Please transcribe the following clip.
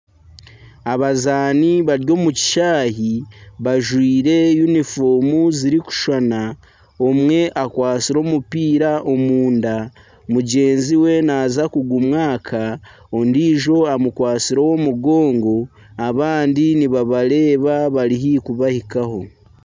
Abazaani bari omu kishaayi bajwaire yunifoomu zirikushushana omwe akwatsire omupiira omunda mugyenzi we naaza kugumwaka ondiijo amukwatsire ow'omu mugongo abandi nibabareeba bari haihi kubahikaho.